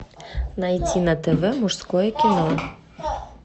найди на тв мужское кино